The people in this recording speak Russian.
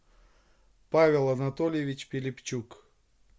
павел анатольевич пилипчук